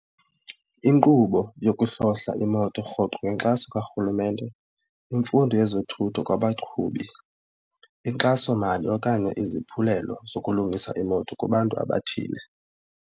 Inkqubo yokuhlohla imoto rhoqo ngenkxaso kaRhulumente, imfundo yezothutho kwabaqhubi, inkxasomali okanye iziphulelo zokulungisa iimoto kubantu abathile.